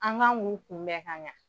An ŋan k'u kunbɛn ka ɲa